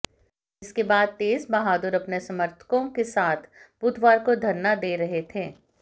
जिसके बाद तेज बहादुर अपने समर्थकों के साथ बुधवार को धरना दे रहे थे